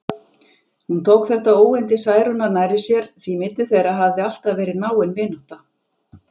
Hún tók þetta óyndi Særúnar nærri sér, því milli þeirra hafði alltaf verið náin vinátta.